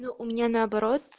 ну у меня наоборот